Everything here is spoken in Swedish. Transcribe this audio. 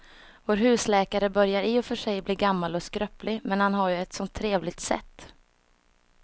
Vår husläkare börjar i och för sig bli gammal och skröplig, men han har ju ett sådant trevligt sätt!